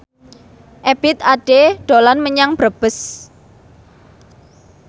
Ebith Ade dolan menyang Brebes